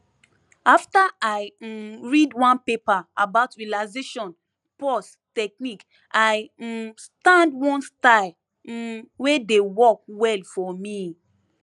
after i um read one paper about relaxation pause technique i um start one style um wey dey work well for me